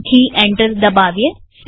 લખી એન્ટર દબાવીએ